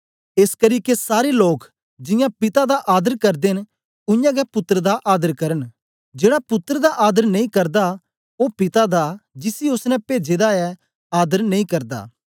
एसकरी के सारे लोग जियां पिता दा आदर करदे न उय्यां गै पुत्तर दा आदर करन जेड़ा पुत्तर दा आदर नेई करदा ओ पिता दा जिसी ओसने पेजे दा ऐ आदर नेई करदा